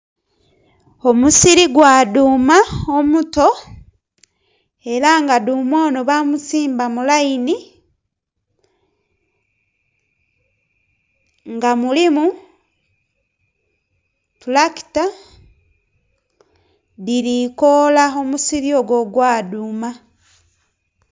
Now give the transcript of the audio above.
Omusiri gwa dhuuma omuto, era nga dhuuma ono baamusimba mu layini. Nga mulimu tulakita, dhili koola omusiri ogwo ogwa dhuuma.